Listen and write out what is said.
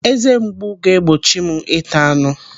Eze mgbu ga-egbochi m ịta anụ.